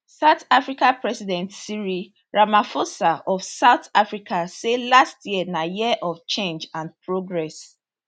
south africa president cyril ramaphosa of south africa say last year na year of change and progress